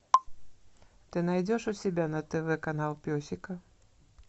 ты найдешь у себя на тв канал песика